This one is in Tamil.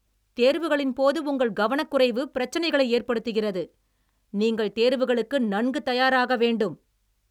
தேர்வுகளின் போது உங்களின் கவனக்குறைவு பிரச்சனைகளை ஏற்படுத்துகிறது, நீங்கள் தேர்வுகளுக்கு நன்கு தயாராக வேண்டும்.